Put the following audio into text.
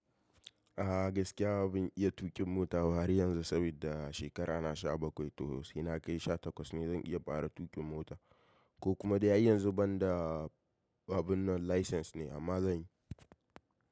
A'a gaskiya ban iya tuƙin mota ba har yanzu saboda shekara na sha bakwai to sai na kai sha takwas ne zan iya fara tuƙin mota ko kuma dai har yanzu banda babu nan license ne amma zan yi.